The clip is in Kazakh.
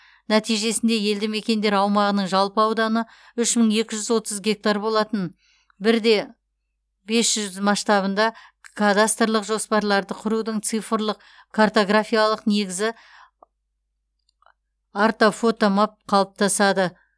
нәтижесінде елді мекендер аумағының жалпы ауданы үш мың екі жүз отыз гектар болатын бір де бес жүз масштабында кадастрлық жоспарларды құрудың цифрлық картографиялық негізі ортофотомап қалыптасады